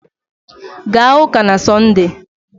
Gaa ụ́kà na Sọnde!